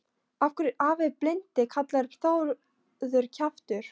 Af hverju er afi blindi kallaður Þórður kjaftur?